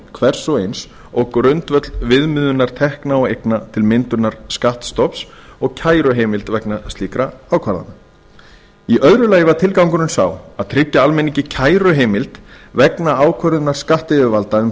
hvers og eins og grundvöll viðmiðunar tekna og eigna til myndunar skattstofns og kæruheimild vegna slíkra ákvarðana í öðru lagi var tilgangurinn sá að tryggja almenningi kæruheimild vegna ákvörðunar skattyfirvalda um